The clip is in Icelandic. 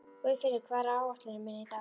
Guðfinnur, hvað er á áætluninni minni í dag?